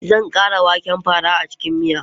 Zan ƙara waken fara a cikin miya.